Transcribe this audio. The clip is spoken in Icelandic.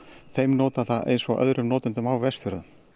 þeim notanda eins og öðrum notendum á Vestfjörðum